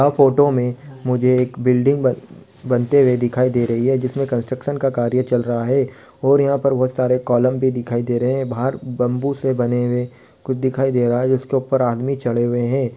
यह फोटो में मुझे एक बिल्डिंग बन बनते हुए दिखाई दे रही है जिसमे कंस्ट्रक्सन का कार्य चल रहा है और यहाँ पर बोहोत सारे कॉलम भी दिखाई दे रहे हैं बाहर बम्बू से बने हुए कुछ दिखाई दे रहा है जिसके ऊपर आदमी चढ़े हुए हें।